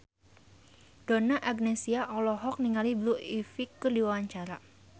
Donna Agnesia olohok ningali Blue Ivy keur diwawancara